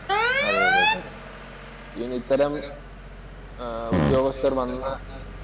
അതെതെതെ. ഇത്തരം ഉദ്യോഗസ്ഥർ വന്ന്